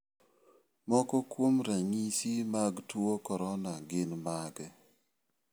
Moko kuom ranyisi mag tuo corona gin mage?